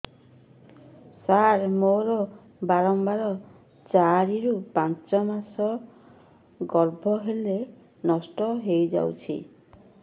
ସାର ମୋର ବାରମ୍ବାର ଚାରି ରୁ ପାଞ୍ଚ ମାସ ଗର୍ଭ ହେଲେ ନଷ୍ଟ ହଇଯାଉଛି